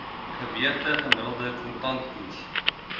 geweegde gemiddelde kontantkoers